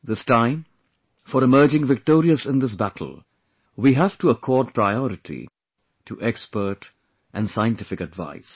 This time, for emerging victorious in this battle, we have to accord priority to expert and scientific advice